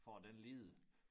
For at den lide